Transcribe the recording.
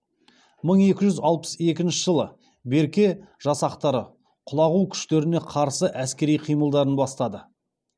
мың екі жүз алпыс екінші жылы берке жасақтары құлағу күштеріне қарсы әскери қимылдарын бастады